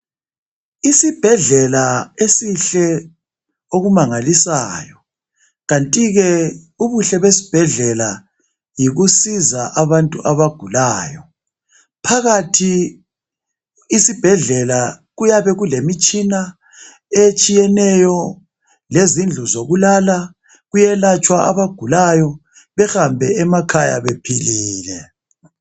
Isibhedlela esihle okumangalisayo kanti ke ubuhle besibhedlela yikusiza abantu abagulayo. Phakathi isibhedlela kuyabe kulemitshina etshiyeneyo lezindlu zokulala. Kuyelatshwa abagulayo behambe emakhaya bephilile.